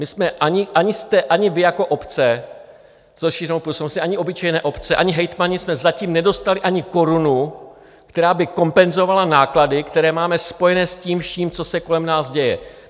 My jsme, ani vy jako obce s rozšířenou působností, ani obyčejné obce, ani hejtmani, jsme zatím nedostali ani korunu, která by kompenzovala náklady, které máme spojené s tím vším, co se kolem nás děje.